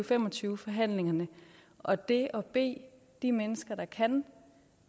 fem og tyve forhandlingerne og det at bede de mennesker der kan